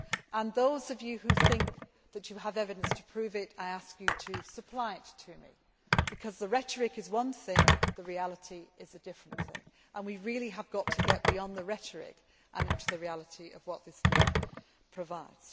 And those of you who think that you have evidence to prove it, I ask you to supply it to me, because the rhetoric is one thing, the reality is a different thing, and we really have got to get beyond the rhetoric and into the reality of what this deal provides.